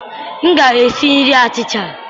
M ga-esi nri achịcha.